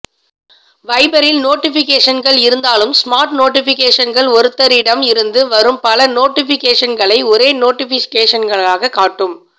வைபரில் நோட்டிபிகேஷன்கள் இருந்தாலும் ஸ்மார்ட் நோட்டிபிகேஷன்கள் ஒருத்தரிடம் இருந்து வரும் பல நோட்டிபிகேஷன்களை ஒரே நோட்டிபிகேஷனாக காட்டும்